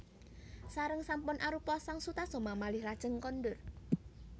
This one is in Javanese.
Sareng sampun arupa sang Sutasoma malih lajeng kondur